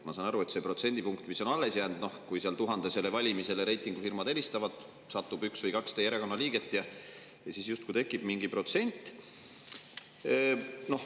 Ma saan aru, et see protsendipunkt, mis on alles jäänud, kui reitingufirmad helistavad umbes 1000‑le, siis satub sellesse valimisse üks või kaks teie erakonna liiget ja siis justkui tekib mingi protsent.